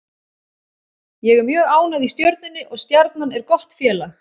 Ég er mjög ánægð í Stjörnunni og Stjarnan er gott félag.